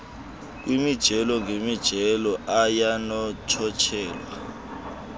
kwimijelo ngemijelo ayanonotshelwa